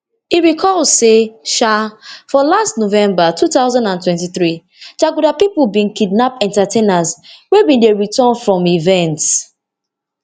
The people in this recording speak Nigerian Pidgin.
e recall say um for last november two thousand and twenty-three jaguda pipo bin kidnap entertainers wey bin dey return from event